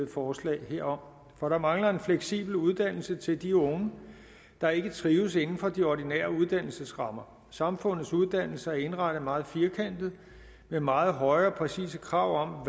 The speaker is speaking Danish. forslag herom for der mangler en fleksibel uddannelse til de unge der ikke trives inden for de ordinære uddannelsesrammer samfundets uddannelser er indrettet meget firkantet med meget høje og præcise krav